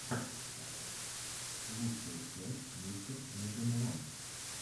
лучшая часть мистер меганерон